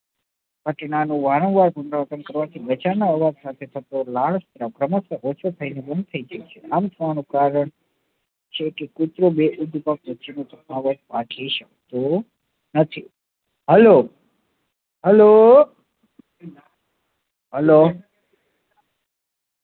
Hello hello